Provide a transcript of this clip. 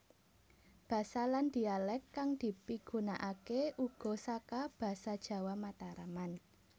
Basa lan dhialek kang dipigunaake uga saka basa jawa mataraman